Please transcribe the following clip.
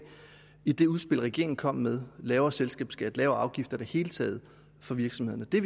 i det udspil regeringen er kommet med lavere selskabsskat lavere afgifter i det hele taget for virksomhederne det